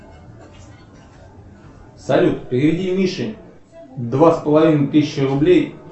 салют переведи мише два с половиной тысячи рублей